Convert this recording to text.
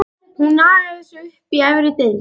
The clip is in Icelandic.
Hún nagaði sig upp í efri deild!